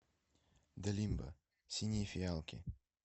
зе лимба синие фиалки